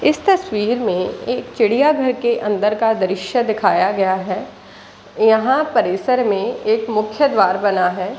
इस तस्वीर में एक चिड़िया घर के अंदर का दृश्य दिखाया गया है यहाँ परिसर में एक मुख्य द्वार बना है।